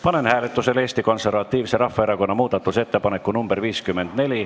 Panen hääletusele Eesti Konservatiivse Rahvaerakonna muudatusettepaneku nr 54.